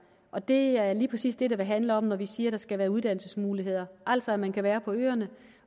og det er lige præcis det det vil handle om når vi siger at der skal være uddannelsesmuligheder altså man kan være på øerne